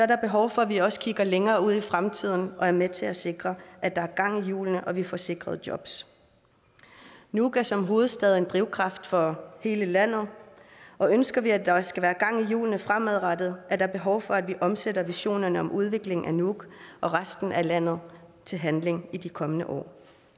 der behov for at vi også kigger længere ud i fremtiden og er med til at sikre at der er gang i hjulene og at vi får sikret jobs nuuk er som hovedstad en drivkraft for hele landet og ønsker vi at der skal være gang i hjulene fremadrettet er der behov for at vi omsætter visionerne om udvikling af nuuk og resten af landet til handling i de kommende år